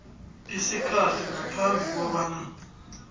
isikhathi ngaphambi kobana